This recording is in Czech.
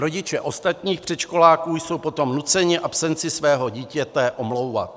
Rodiče ostatních předškoláků jsou potom nuceni absenci svého dítěte omlouvat.